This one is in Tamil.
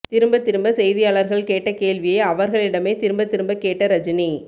திரும்பத் திரும்ப செய்தியாளர்கள் கேட்ட கேள்வியை அவர்களிடமே திரும்பத் திரும்ப கேட்ட ரஜினி